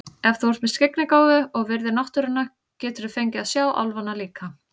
Ef þú ert með skyggnigáfu og virðir náttúruna geturðu fengið að sjá álfana líka.